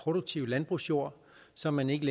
produktive landbrugsjord så man ikke